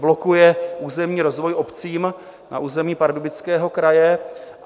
Blokuje územní rozvoj obcím na území Pardubického kraje.